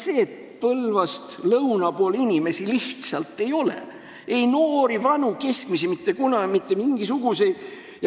Põlvast lõuna pool inimesi lihtsalt ei ole: ei noori, vanu ega keskmisi, mitte mingisuguseid.